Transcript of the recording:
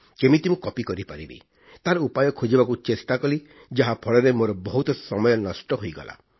କେମିତି ମୁଁ କପି କରିପାରିବି ତାର ଉପାୟ ଖୋଜିବାକୁ ଚେଷ୍ଟା କଲି ଯାହା ଫଳରେ ମୋର ବହୁତ ସମୟ ନଷ୍ଟ ହୋଇଗଲା